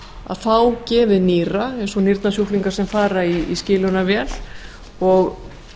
að fá gefið nýra eins og sjúklingar sem fara í skilunarvél og